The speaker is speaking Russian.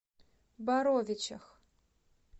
боровичах